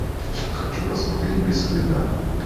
хочу посмотреть без следа